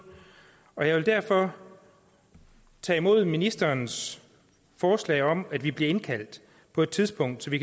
og jeg vil derfor tage imod ministerens forslag om at vi bliver indkaldt på et tidspunkt så vi